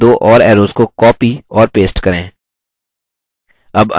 इस बादल के लिए दो और arrows को copy और paste करें